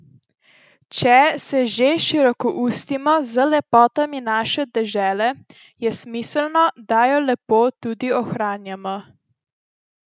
Če se že širokoustimo z lepotami naše dežele, je smiselno, da jo lepo tudi ohranjamo.